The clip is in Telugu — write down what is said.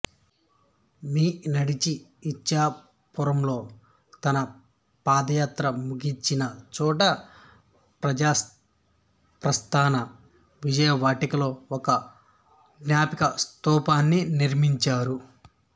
మీ నడచి ఇచ్చాపురంలో తన పాదయాత్రముగించిన చోట ప్రజాప్రస్ధాన విజయవాటికలో ఒక జ్ఞాపిక స్తూపాన్ని నిర్మించారు